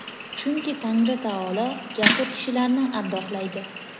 chunki Tangri taolo jasur kishilarni ardoqlaydi.